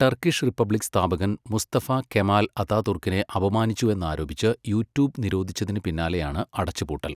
Turkish republic സ്ഥാപകൻ Mustafa Kemal അതാതുർക്കിനെ അപമാനിച്ചുവെന്നാരോപിച്ച് യൂട്യൂബ് നിരോധിച്ചതിന് പിന്നാലെയാണ് അടച്ചുപൂട്ടൽ.